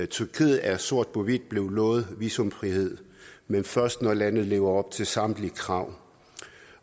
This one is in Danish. tyrkiet er sort på hvidt blevet lovet visumfrihed men først når landet lever op til samtlige krav